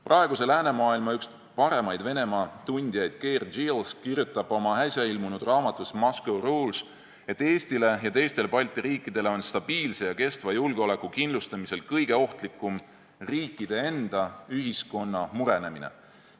Praeguse läänemaailma üks paremaid Venemaa tundjaid Keir Giles kirjutab oma äsja ilmunud raamatus "Moscow Rules", et Eestile ja teistele Balti riikidele on stabiilse ja kestva julgeoleku kindlustamisel kõige ohtlikum riikide enda ühiskonna murenemine.